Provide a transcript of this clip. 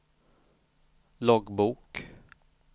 loggbok